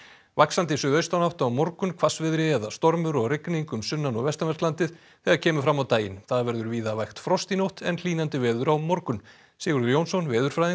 vaxandi suðaustan átt á morgun hvassviðri eða stormur og rigning um sunnan og vestanvert landið þegar kemur fram á daginn það verður víða vægt frost í nótt en hlýnandi veður á morgun Sigurður Jónsson veðurfræðingur